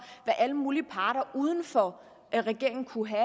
hvad alle mulige parter uden for regeringen kunne have